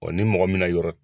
O ni mɔgɔ min na yɔrɔ.